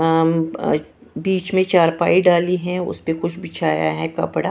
हाँ अ बीच में चारपाई डाली है उस पे कुछ बिछाया है कपड़ा।